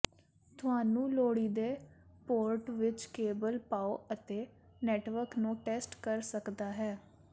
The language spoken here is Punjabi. ਤੁਹਾਨੂੰ ਲੋੜੀਦੇ ਪੋਰਟ ਵਿੱਚ ਕੇਬਲ ਪਾਓ ਅਤੇ ਨੈੱਟਵਰਕ ਨੂੰ ਟੈਸਟ ਕਰ ਸਕਦਾ ਹੈ